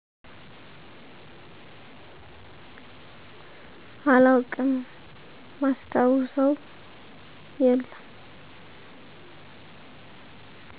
አላውቅም ማስታውሰው የለም